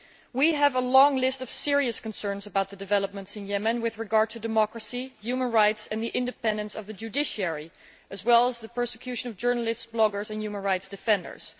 We have a long list of serious concerns about developments in Yemen in relation to democracy, human rights and the independence of the judiciary, as well as to the persecution of journalists, bloggers and human rights defenders.